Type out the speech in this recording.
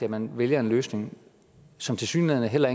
at man vælger en løsning som tilsyneladende heller